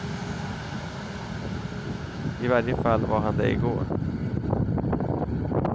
I varje fall var han det i går.